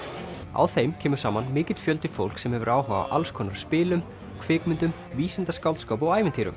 á þeim kemur saman mikill fjöldi fólks sem hefur áhuga á alls konar spilum kvikmyndum vísindaskáldskap og ævintýrum